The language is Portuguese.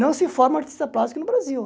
Não se forma artista plástico no Brasil.